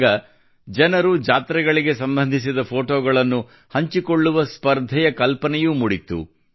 ಆಗ ಜನರು ಜಾತ್ರೆಗಳಿಗೆ ಸಂಬಂಧಿಸಿದ ಫೋಟೋಗಳನ್ನು ಹಂಚಿಕೊಳ್ಳುವ ಸ್ಪರ್ಧೆಯ ಕಲ್ಪನೆಯೂ ಮೂಡಿತ್ತು